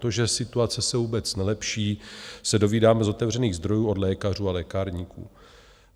To, že situace se vůbec nelepší, se dovídáme z otevřených zdrojů od lékařů a lékárníků.